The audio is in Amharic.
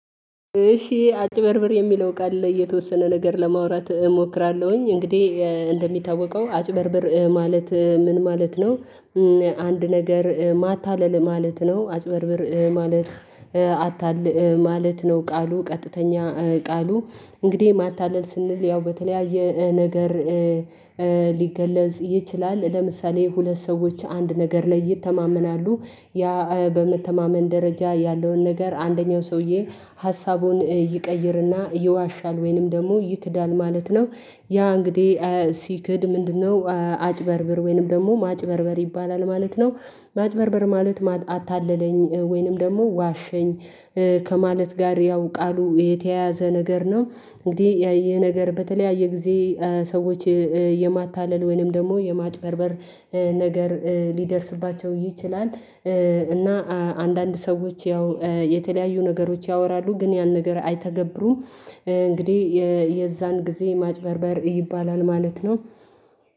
አጭበርብር የሚለው ቃል ላይ የተወሰነ ነገር ለማውራት እሞክራለሁኝ እንግዲህ እንደሚታወቀው አጭበርብር ማለት ምን ማለት ነው? አንድ ነገር ማታለል ማለት ነው። አጭበርብር ማለት አታልል ማለት ነው። ቃሉ ቀጥተኛ ቃሉ እንግዲህ ማታለል ስንል ያው በተለያየ ነገር ሊገለጽ ይችላል። ለምሳሌ ሁለት ሰዎች አንድ ነገር ላይ ይተማመናሉ ያ በመተማመን ደረጃ ያለውን ነገር አንደኛው ሰውዬ ሀሳቡን ይቀይርና ይዋሻል ወይንም ደግሞ ይክዳል ማለት ነው። ያ እንግዲህ ሲክድ ምንድነው? አጭበርብር ወይንም ደግሞ ማጭበርበር ይባላል ማለት ነው። ማጭበርበር ማለት አታለለኝ ወይንም ደግሞ ዋሸኝ ከማለት ጋር ያው ቃሉ የተያያዘ ነገር ነው። እንግዲህ ይሄ ነገር በተለያየ ጊዜ ሰዎች የማታለል ወይንም ደግሞ የማጭበርበር ነገር ሊደርስባቸው ይችላል። እና አንዳንድ ሰዎች ያው የተለያዩ ነገሮች ያወራሉ ግን ያን ነገር አይተገብሩም። እንግዲህ የዛን ጊዜ ማጭበርበር ይባላል ማለት ነው።